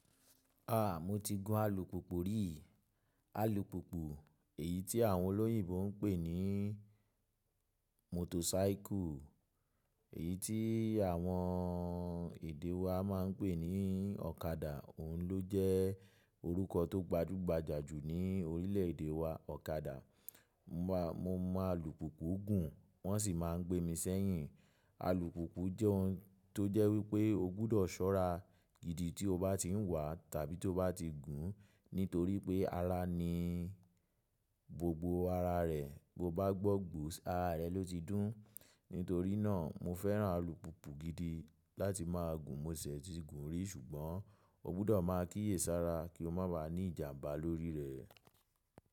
A! Mo ti gun alùpùpù rí. Alùpùpù èyí tí àwọn olóyìnbo ń pè ní motorcycle, èyí tí àwọn èdè wa máa ń pè ní ọ̀kadà. Òun ló jẹ́ orúkọ tó gbajúgbajà jù ní orílẹ̀èdè wa, ọ̀kadà. Mo mọ alùpùpù gùn wọ́n sì máa ń gbé mi sẹ́yìn. Alùpùpù jẹ́ ohun tó jẹ́ wípé o gbọdọ̀ ṣọ́ra gidi tí o bá ti ń wà tàbí tó bá ti n gùn nítorí pé ara ni gbogbo ara rẹ̀. Bo bá gbọ́ gbos ara rẹ ló ti dùn. Nítorí náà mo fẹ́ràn alùpùpù gidi láti máa gùn. Mo ṣì ti gùn rí ṣùgbọ́n o gbọdọ̀ máa kíyèsára kí o má ba ní ìjàmbá lórí rẹ̀.